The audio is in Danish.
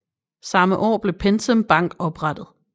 Samme år blev PenSam Bank oprettet